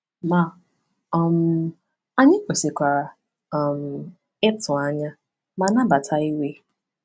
Ma um anyị kwesịkwara um ịtụ anya ma nabata iwe.